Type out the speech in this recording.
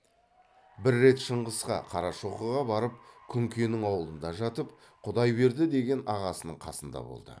бір рет шыңғысқа қарашоқыға барып күнкенің аулында жатып құдайберді деген ағасының қасында болды